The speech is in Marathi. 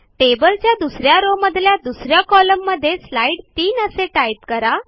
टेबलच्या दुस या रो मधल्या दुस या कॉलममध्ये स्लाईड 3 असे टाईप करा